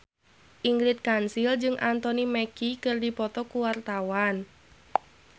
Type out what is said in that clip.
Ingrid Kansil jeung Anthony Mackie keur dipoto ku wartawan